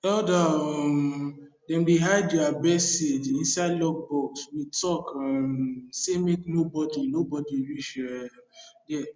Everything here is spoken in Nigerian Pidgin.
elder um dem dey hide their best seed inside locked box with talk um say make no body no body reach um there